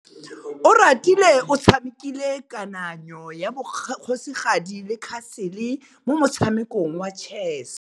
Oratile o tshamekile kananyô ya kgosigadi le khasêlê mo motshamekong wa chess.